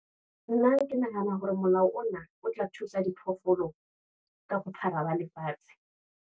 Nna ke nahana hore molao ona, o tla thusa diphoofolo ka ho phara ba lefatshe.